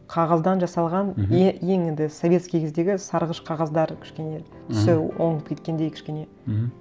қағаздан жасалған мхм ең енді советский кездегі сарғыш қағаздар кішкене түсі өңіп кеткендей кішкене мхм